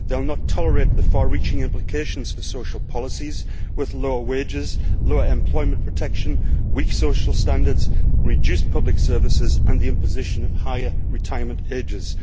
They will not tolerate the far reaching implications for social policies with lower wages, lower employment protection, weak social standards, reduced public services and the imposition of higher retirement ages.